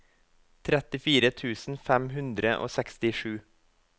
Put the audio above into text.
trettifire tusen fem hundre og sekstisju